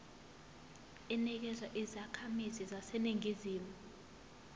inikezwa izakhamizi zaseningizimu